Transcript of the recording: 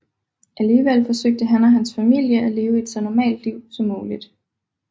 Alligevel forsøgte han og hans familie at leve så normalt et liv som muligt